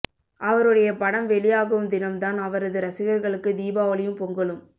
அவருடைய படம் வெளியாகும் தினம் தான் அவரது ரசிகர்களுக்கு தீபாவளியும் பொங்கலும்